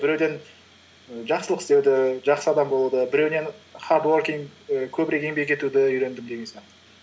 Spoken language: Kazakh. біреуден і жақсылық істеуді жақсы адам болуды біреуінен хардуоркинг і көбірек еңбек етуді үйрендім деген сияқты